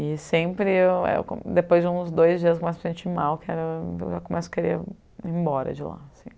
E sempre eu, co depois de uns dois dias bastante mal, eu começo a querer ir embora de lá, assim.